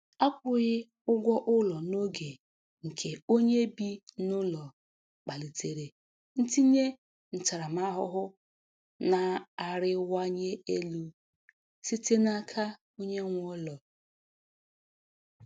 Akwughi ụgwọ ụlọ n'oge nke onye bi n'ụlọ kpalitere ntinye ntaramahụhụ na-arịwanye elu site n'aka onye nwe ụlọ.